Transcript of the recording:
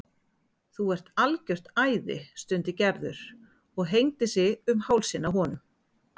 Þú ert algjört æði stundi Gerður og hengdi sig um hálsinn á honum.